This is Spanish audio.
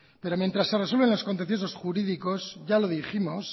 pero mientras se resuelven los contenciosos jurídicos ya lo dijimos